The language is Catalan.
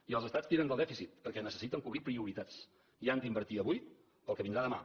i els estats ti ren del dèficit perquè necessiten cobrir prioritats i han d’invertir avui pel que vindrà demà